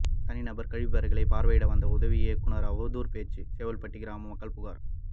தனிநபர் கழிப்பறைகளை பார்வையிட வந்த உதவி இயக்குனர் அவதூறு பேச்சு செவல்பட்டி கிராம மக்கள் புகார்